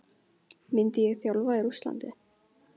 Myndi ég þjálfa í Rússlandi?